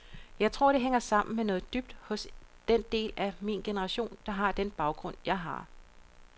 Jeg tror, det hænger sammen med noget dybt hos den del af min generation, der har den baggrund, jeg har.